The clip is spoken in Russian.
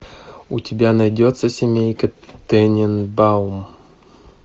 у тебя найдется семейка тененбаум